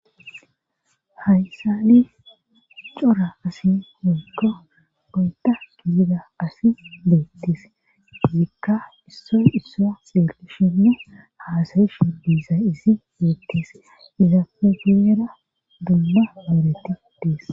Haysan cora asay woykon oyda gidida asay betes ika issoy issoy betishene hasayishe dizaysi betes izappe guyera duma oydeti des